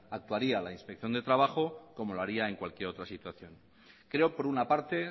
actuaría la inspección de trabajo como lo haría en cualquier otra situación creo por una parte